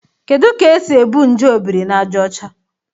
Kedu ka e si ebu nje Obirinajaọcha?